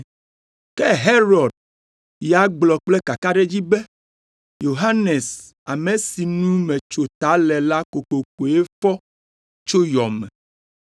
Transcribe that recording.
Ke Herod ya gblɔ kple kakaɖedzi be, “Yohanes, ame si nu metso ta le la kokokoe fɔ tso yɔ me.”